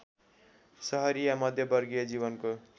सहरिया मध्यमवर्गीय जीवनको